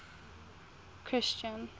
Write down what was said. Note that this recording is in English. christian